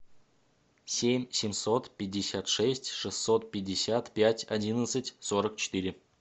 семь семьсот пятьдесят шесть шестьсот пятьдесят пять одиннадцать сорок четыре